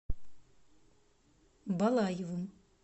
балаевым